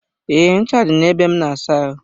Ee, ncha dị na ebe m na-asa ahụ.